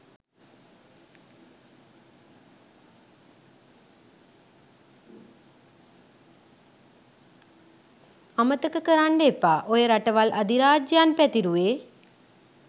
අමතක කරන්ඩ එපා ඔය රටවල් අධිරාජ්‍යයන් පැතිරුවේ